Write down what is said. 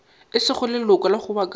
e sego leloko la kgobokano